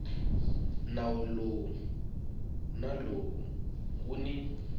nawu lowu na nawu wun